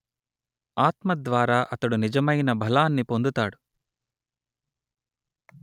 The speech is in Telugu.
ఆత్మద్వారా అతడు నిజమైన బలాన్ని పొందుతాడు